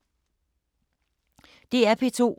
DR P2